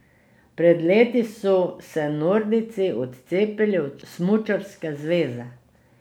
Pred leti so se nordijci odcepili od smučarske zveze.